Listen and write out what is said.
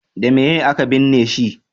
da meye a ka binne shi